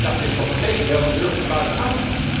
Dat is toch het tegendeel van druk van buitenaf?